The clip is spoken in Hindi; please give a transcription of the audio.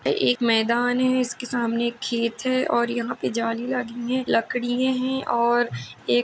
एक मैदान है इसके सामने एक खेत है और यहाँ पे जाली लगी है लकड़िये है और एक --